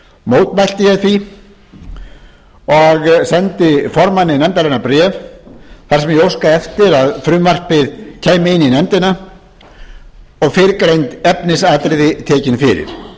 mótmælti ég því og sendi formanni nefndarinnar bréf þar sem ég óskaði eftir að frumvarpið kæmi inn í nefndina og fyrrgreind efnisatriði tekin fyrir